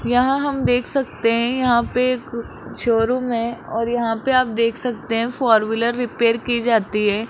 यहां हम देख सकते हैं यहां पे एक शोरूम है और यहां पे आप देख सकते है फोर व्हीलर रिपेयर की जाती है।